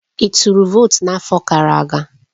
Ị tụrụ votu n'afọ gara aga?